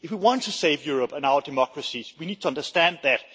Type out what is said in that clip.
If we want to save Europe and our democracies, we need to understand that.